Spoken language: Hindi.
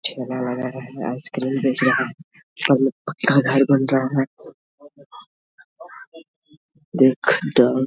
ठेला लगा है आइसक्रीम बेच रहा है घर बन रहा है देख दम --